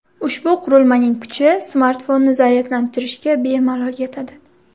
Ushbu qurilmaning kuchi smartfonni zaryadlantirishga bemalol yetadi.